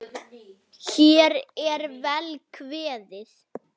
Þórir: Hvernig var aðkoman hérna?